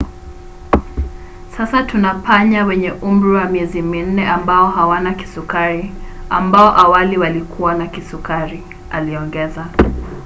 "sasa tuna panya wenye umri wa miezi minne ambao hawana kisukari ambao awali walikuwa na kisukari aliongeza